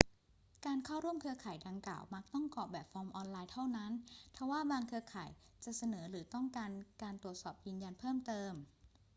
การเข้าร่วมเครือข่ายดังกล่าวมักต้องกรอกแบบฟอร์มออนไลน์เท่านั้น ทว่าบางเครือข่ายจะเสนอหรือต้องการการตรวจสอบยืนยันเพิ่มเติม